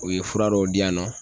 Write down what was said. O ye fura dɔw di yan nɔ